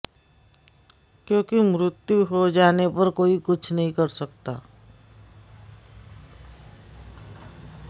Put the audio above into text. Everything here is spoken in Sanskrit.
क्योंकि मृत्यु हो जाने पर कोई कुछ नहीं कर सकता